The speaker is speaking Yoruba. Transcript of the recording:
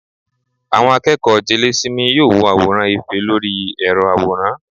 àwọn akeeko jelésímí, yóò wọ aworan efe Lori ẹrọ aworán